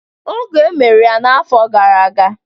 Oge emeru ya n'afọ gara aga.